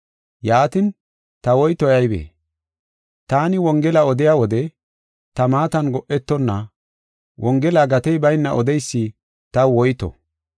Yaatin, ta woytoy aybee? Taani wongela odiya wode ta maatan go7etonna, wongela gatey bayna odeysi taw woyto.